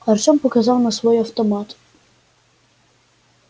артем показал на свой автомат